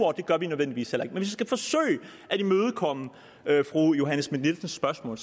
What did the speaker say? og det gør vi nødvendigvis heller at imødekomme fru johanne schmidt nielsens spørgsmål